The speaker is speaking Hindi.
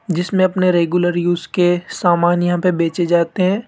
जिसमें अपने रेगुलर यूज के सामान यहां पे बेचे जाते हैं।